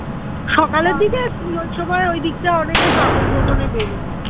সকালের ওই সময় ওই দিকটা অনেকে প্রাতঃভ্রমণে বেরোয়